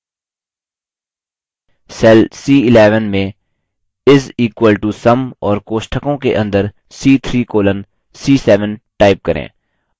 cell c11 में is equal to sum और कोष्ठकों के अंदर c3 colon c7 type करें